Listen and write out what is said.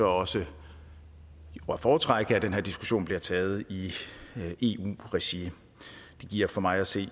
også at foretrække at den her diskussion bliver taget i eu regi det giver for mig at se